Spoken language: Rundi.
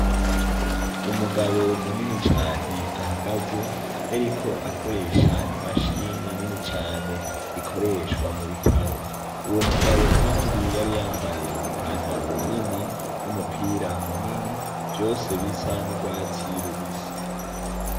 Umugabo munini cane ahagaze yariko akoresha imashini nini cane rikoreshwa mu bitaro uwo mugabo, kandi yari yambaye ipantaro nini no mupira munini vyose bisa n'urwazi' ilubisi.